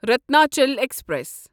Ratnachal express